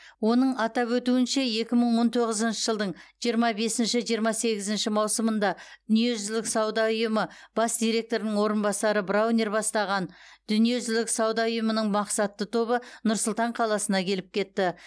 оның атап өтуінше екі мың он тоғызыншы жылдың жиырма бесінші жиырма сегізінші маусымында дүниежүзілік сауда ұйымы бас директорының орынбасары к браунер бастаған дүниежүзілік сауда ұйымының мақсатты тобы нұр сұлтан қаласына келіп кетті